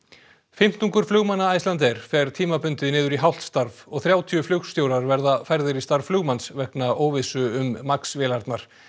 fimmtungur flugmanna Icelandair fer tímabundið niður í hálft starf og þrjátíu flugstjórar verða færðir í starf flugmanns vegna óvissu um MAX vélarnar